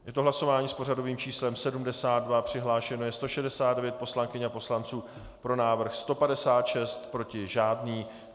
Je to hlasování s pořadovým číslem 72, přihlášeno je 169 poslankyň a poslanců, pro návrh 156, proti žádný.